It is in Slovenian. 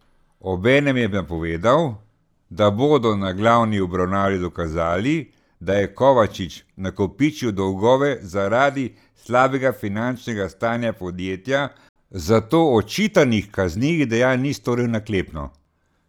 Obenem je napovedal, da bodo na glavni obravnavi dokazali, da je Kovačič nakopičil dolgove zaradi slabega finančnega stanja podjetja, zato očitanih kaznivih dejanj ni storil naklepno.